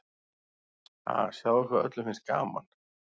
Ha, sjáðu hvað öllum finnst gaman.